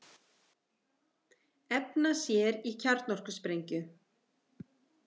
Efna sér í kjarnorkusprengju